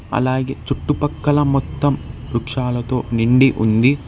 అలాగే చుట్టుపక్కల మొత్తం వృక్షాలతో నిండి ఉంది.